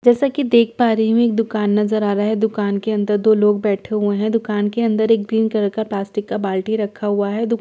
जैसा की देख पा रही हूँ एक दुकान नज़र आ रहा है दुकान के अंदर दो लोग बैठे हुए है दुकान के अंदर एक ग्रीन कलर का प्लास्टिक का बाल्टी रखा हुआ है दुकान के--